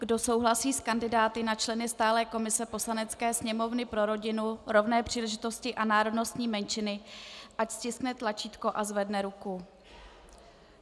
Kdo souhlasí s kandidáty na členy stálé komise Poslanecké sněmovny pro rodinu, rovné příležitosti a národnostní menšiny, ať stiskne tlačítko a zvedne ruku.